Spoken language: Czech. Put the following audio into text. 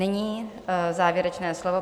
Nyní závěrečné slovo.